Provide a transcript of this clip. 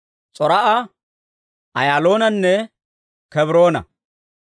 S'or"a, Ayaaloonanne Kebroona.